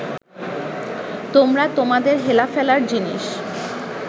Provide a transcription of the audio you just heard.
আমরা তোমাদের হেলাফেলার জিনিস